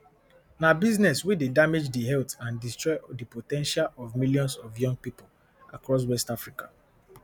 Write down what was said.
na business wey dey damage di health and destroy di po ten tial of millions of young pipo across west africa